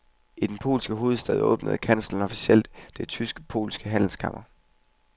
I den polske hovedstad åbnede kansleren officielt det tysk-polske handelskammer.